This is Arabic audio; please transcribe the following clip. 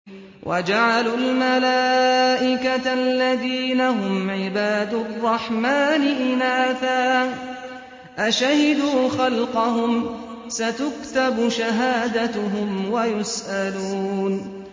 وَجَعَلُوا الْمَلَائِكَةَ الَّذِينَ هُمْ عِبَادُ الرَّحْمَٰنِ إِنَاثًا ۚ أَشَهِدُوا خَلْقَهُمْ ۚ سَتُكْتَبُ شَهَادَتُهُمْ وَيُسْأَلُونَ